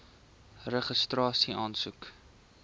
registrasieaansoek